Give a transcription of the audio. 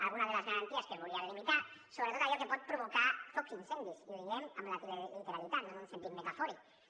alguna de les garanties que es volien limitar sobretot allò que pot provocar focs i incendis i ho diem amb literalitat no en un sentit metafòric